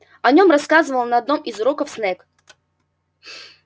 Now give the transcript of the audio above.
о нем рассказывал на одном из уроков снегг